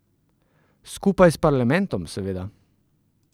Skupaj s parlamentom, seveda.